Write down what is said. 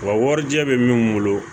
Wa warijɛ bɛ min bolo